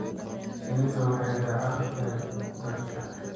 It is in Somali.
Shinnidu waxay daacad u tahay dadka.